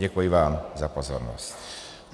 Děkuji vám za pozornost.